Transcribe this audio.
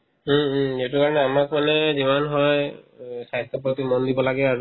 উম, উম সেইটোৰ কাৰণে আমাৰফালে যিমান হয় অ স্বাস্থ্যৰ প্ৰতি মন দিব লাগে আৰু